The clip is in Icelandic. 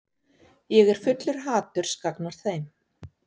Ég er fullur haturs gagnvart þeim.